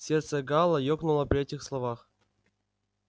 сердце гаала ёкнуло при этих словах